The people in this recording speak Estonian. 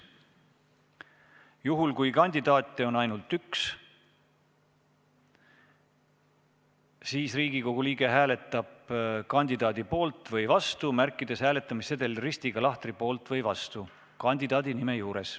Juhul kui kandidaate on ainult üks, siis Riigikogu liige hääletab kandidaadi poolt või vastu, märgistades hääletussedelil ristiga lahtri "poolt" või "vastu" kandidaadi nime juures.